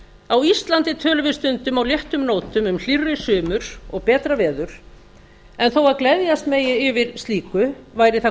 á íslandi tölum við stundum á léttum nótum um hlýrri sumur og betra verður en þó að gleðjast megi yfir slíku væri það